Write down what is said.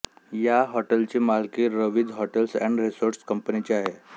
या हॉटेलची मालकी रवीझ हॉटेल्स एंड रेसोर्ट्स कंपनीची आहे